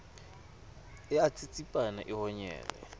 e a tsitsipana e honyele